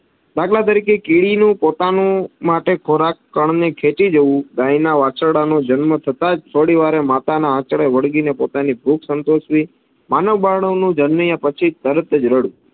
દાખલા તરીકે કીડી નું પોતાનું માટે ખોરાક કન ની ખેતી જેવુ. ગાય ના વાછરડા ના જન્મ થતાં જ થોડી વારે માતા ના આંચળે વળગીને પોતાની ભૂખ સંતોષવી, માનવ બાળ નું જન્મી ને પછી તરત જ રડવું.